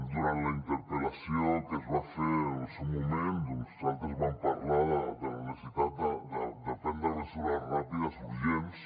durant la interpel·lació que es va fer en el seu moment doncs nosaltres vam parlar de la necessitat de prendre mesures ràpides i urgents